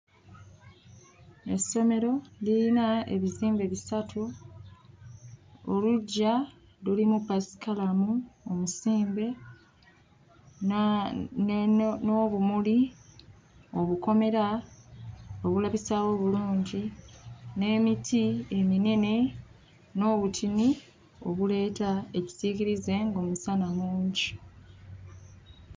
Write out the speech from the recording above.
Essomero liyina ebizimbe bisatu, oluggya lulimu paasikalamu omusimbe naa ne ne n'obumuli, obukomera obulabisaawo obulungi n'emiti eminene n'obutini obuleeta ekisiikirize ng'omusana mungi.